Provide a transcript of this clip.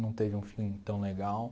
Não teve um fim tão legal.